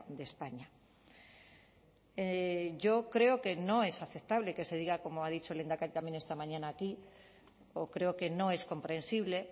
de españa yo creo que no es aceptable que se diga como ha dicho el lehendakari también esta mañana aquí o creo que no es comprensible